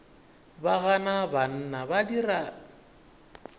ba gana banna ba dira